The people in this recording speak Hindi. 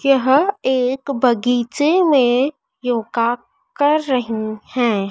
यहां एक बगीचे में योगा कर रही है।